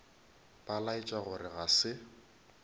ba laetša gore ga se